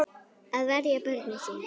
Að verja börnin sín.